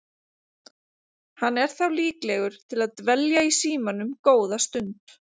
Hann er þá líklegur til að dvelja í símanum góða stund.